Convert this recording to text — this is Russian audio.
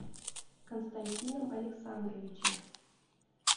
константином александровичем